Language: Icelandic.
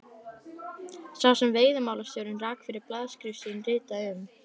sá sem veiðimálastjóri rak fyrir blaðaskrif sín, ritaði um